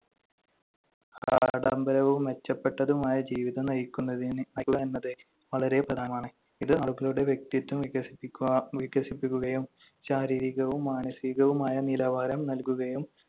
ആഡംബരവും മെച്ചപ്പെട്ടതുമായ ജീവിതം നയിക്കുന്നതിന്~ നയിക്കുക എന്നത് വളരെ പ്രധാനമാണ്. ഇത് ആളുകളുടെ വ്യക്തിത്വം വികസിപ്പിക്കുകാ~ വികസിപ്പിക്കുകയും ശാരീരികവും മാനസികവുമായ നിലവാരം നൽകുകയും